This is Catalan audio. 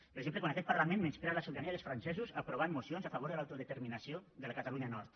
per exemple quan aquest parlament menysprea la sobirania dels francesos aprovant mocions a favor de l’autodeterminació de la catalunya nord